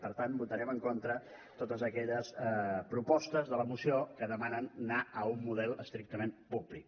per tant votarem en contra de totes aquelles propostes de la moció que demanen anar a un model estrictament públic